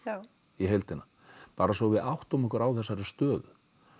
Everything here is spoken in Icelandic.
í heildina bara svo við áttum okkur á þessari stöðu